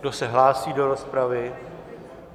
Kdo se hlásí do rozpravy?